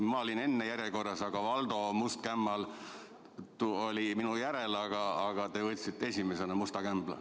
Ma olin enne järjekorras ja Valdo must kämmal oli minu järel, aga te võtsite esimesena tema musta kämbla.